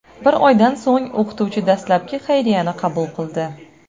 Bir oydan so‘ng o‘qituvchi dastlabkli xayriyani qabul qildi.